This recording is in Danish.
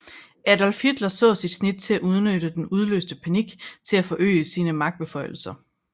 Adolf Hitler så sit snit til at udnytte den udløste panik til at forøge sine magtbeføjelser